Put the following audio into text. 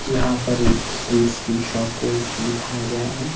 यहां पर एक स्वीट्स की शॉप को दिखाया गया है।